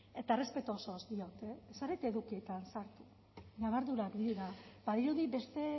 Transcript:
eta errespetu osoz diot zer edukietan ñabardurak dira badirudi beste